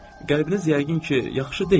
Qəlbiniz yəqin ki, yaxşı deyil.